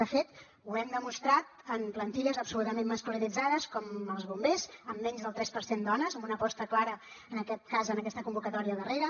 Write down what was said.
de fet ho hem demostrat en plantilles absolutament masculinitzades com els bombers amb menys del tres per cent dones amb una aposta clara en aquest cas en aquesta convocatòria darrera